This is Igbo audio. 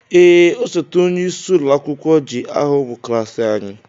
Ee, osote onyeisi ụlọ akwụkwọ ji aha ụmụ klaasị anyị.